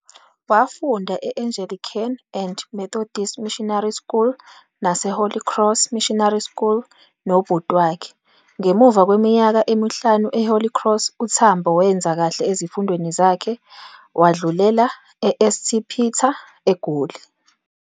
Wafunda e-Angelican and Methodist Missionary School nase Holly Cross Missionary School nobhuti wakhe. Ngemuva kweminyaka emihlanu e-Holy Cross, uTambo wenza kahle ezifundweni zakhe wadlulela eSt Peter, eGoli.